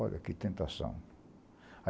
Olha que tentação.